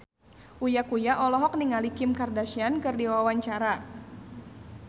Uya Kuya olohok ningali Kim Kardashian keur diwawancara